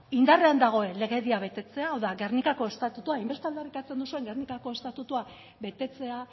indarrean dagoen legedia betetzea hau da gernikako estatutua hainbeste aldarrikatzen duzuen gernikako estatutua betetzea